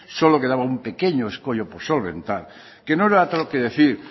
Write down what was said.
solo quedaba un pequeño escollo por solventar que no era otro que decir